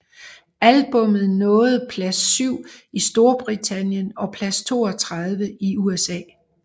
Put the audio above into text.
Albummet nåede plads 7 i Storbritannien og plads 32 i USA